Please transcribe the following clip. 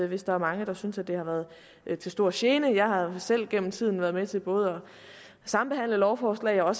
hvis der er mange der synes at det har været til stor gene jeg har selv gennem tiden været med til både at sambehandle lovforslag og